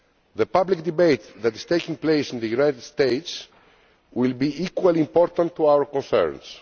The public debate that is taking place in the United States will be equally important to our concerns.